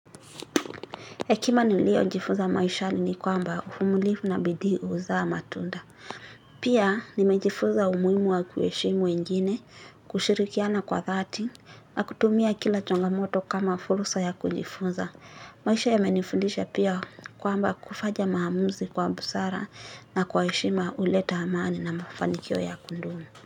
Hekima niliojifunza maishali ni kwamba uvumilivu na bidii huzaa matunda. Pia nimejifuza umuhimu wa kuheshimu wengine, kushirikiana kwa thati, na kutumia kila chongamoto kama fursa ya kujifuza. Maisha yamenifuza pia kwamba kufanya maamuzi kwa busara na kwa heshima huleta amani na mafanikio ya kudumu.